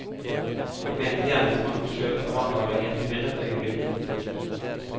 Jeg mente gjerningsmannen skjøt av vanvare i et forvirret øyeblikk.